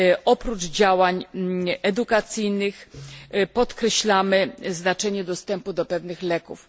Oprócz działań edukacyjnych podkreślamy znaczenie dostępu do pewnych leków.